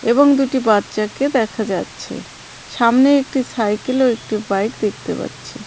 এবং দুটি বাচ্চাকে দেখা যাচ্ছে সামনে একটি সাইকেল ও একটি বাইক দেখতে পাচ্ছি.